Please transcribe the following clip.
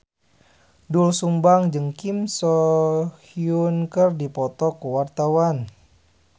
Doel Sumbang jeung Kim So Hyun keur dipoto ku wartawan